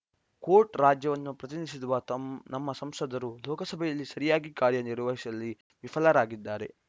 coat ರಾಜ್ಯವನ್ನು ಪ್ರತಿನಿಧಿಸುವ ನಮ್ಮ ಸಂಸದರು ಲೋಕಸಭೆಯಲ್ಲಿ ಸರಿಯಾಗಿ ಕಾರ್ಯ ನಿರ್ವಹಿಸುವಲ್ಲಿ ವಿಫಲರಾಗಿದ್ದಾರೆ